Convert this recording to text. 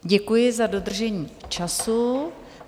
Děkuji za dodržení času.